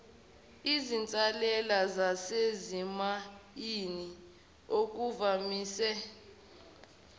izinsalela zasezimayini okuvamise